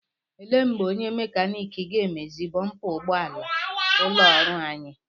Ele mgbe onye mekanik ga-emezi bọmpa ụgbọala ụlọ ọrụ anyị?